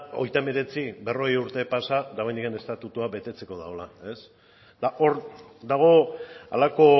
hogeita hemeretzi berrogei urte pasa dagoeneko estatutua betetzeko dagoela eta hor dago halako